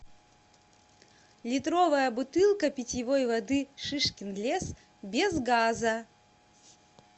литровая бутылка питьевой воды шишкин лес без газа